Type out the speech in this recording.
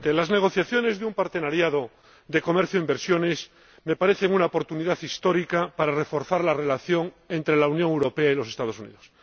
Señor Presidente, las negociaciones de una asociación de comercio e inversiones me parecen una oportunidad histórica para reforzar la relación entre la Unión Europea y los Estados Unidos.